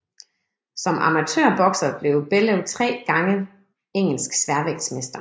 Som amatørbokser blev Bellew 3 gange Engelsk sværvægtsmester